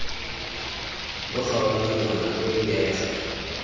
lo kgaola monwana lo ipege